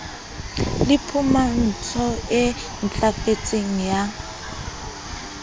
le phumantso e ntlafetseng ya